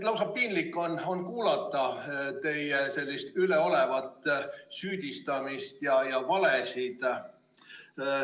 Lausa piinlik on kuulata teie üleolevat süüdistamist ja valesid.